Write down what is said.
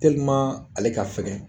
Tɛliman ale ka fɛgɛn